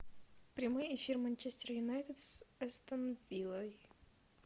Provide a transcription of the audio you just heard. прямой эфир манчестер юнайтед с астон виллой